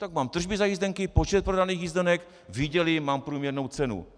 Tak mám tržby za jízdenky, počet prodaných jízdenek, vydělím, mám průměrnou cenu.